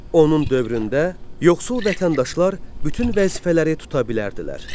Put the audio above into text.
Onun dövründə yoxsul vətəndaşlar bütün vəzifələri tuta bilərdilər.